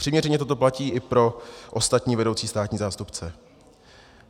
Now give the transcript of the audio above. Přiměřeně toto platí i pro ostatní vedoucí státní zástupce.